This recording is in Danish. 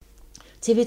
TV 2